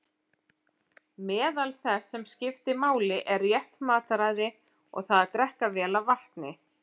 Meðal þess sem skiptir máli er rétt mataræði og það að drekka vel af vatni.